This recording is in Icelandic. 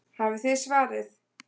Hafið þið svarið?